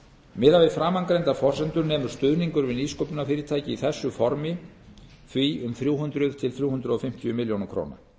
miðað við framangreindar forsendur nemur stuðningur við nýsköpunarfyrirtæki í þessu formi því um þrjú hundruð til þrjú hundruð fimmtíu milljónir króna